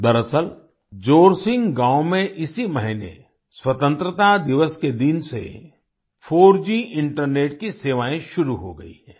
दरअसल जोरसिंग गाँव में इसी महीने स्वतन्त्रता दिवस के दिन से 4G इंटरनेट की सेवाएँ शुरू हो गई हैं